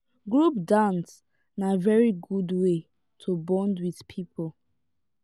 group dance na very good wey to bond with people